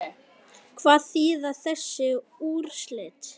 Hvað þýða þessi úrslit?